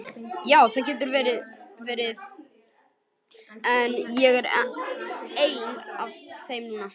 Ja, það getur vel verið, en ég er ein af þeim núna.